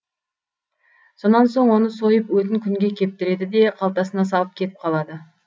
сонан соң оны сойып өтін күнге кептіреді де қалтасына салып кетіп қалады